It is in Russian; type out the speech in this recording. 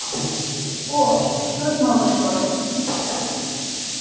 о существует много способов